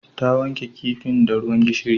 Ta wanke kifin da ruwan gishiri